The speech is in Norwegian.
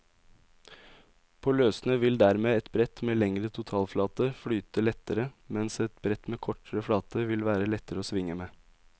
På løssnø vil dermed et brett med lengre totalflate flyte lettere, mens et brett med kortere flate vil være lettere å svinge med.